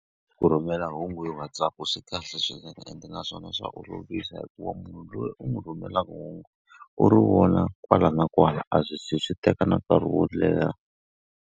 Ku rhumela hungu hi WhatsApp swi kahle swi nga ende naswona swa olovisa hikuva munhu loyi u n'wi rhumelaka hungu, u ri wona kwala na kwala a swi ze swi teka nkarhi wo leha.